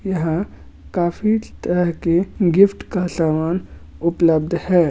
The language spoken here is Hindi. यहाँ काफी तरह के गिफ्ट् का सामान उपलब्ध है।